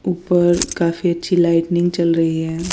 ऊपर काफी अच्छी लाइटनिंग चल रही है।